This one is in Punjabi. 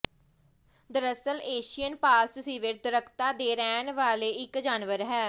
ਦਰਅਸਲ ਏਸ਼ੀਅਨ ਪਾਮ ਸਿਵੇਟ ਦਰੱਖਤਾਂ ਤੇ ਰਹਿਣ ਵਾਲਾ ਇੱਕ ਜਾਨਵਰ ਹੈ